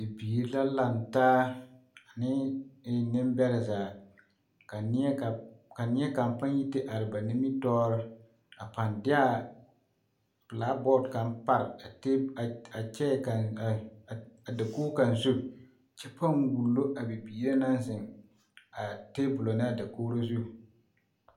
Bibiiri la laŋ taa ane neŋbɛrɛ zaa ka neɛ ka ka neɛ kaŋ paŋ yi te are ba nimitɔɔre a paŋ de a belaabɔɔt kaŋ pare a tee a kyɛɛ a dakog kaŋ zu kyɛ paŋ wullo a bibiiri na naŋ zeŋ a tebolɔ ne a dakogro zu.